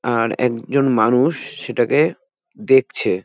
আর একজন মানুষ সেটাকে দেখছে।